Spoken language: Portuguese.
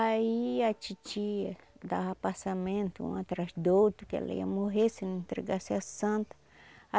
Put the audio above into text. Aí a titia dava passamento um atrás do outro, que ela ia morrer se não entregasse a santa.